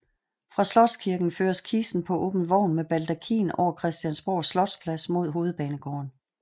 Fra Slotskirken føres kisten på åben vogn med baldakin over Christiansborg Slotsplads mod Hovedbanegården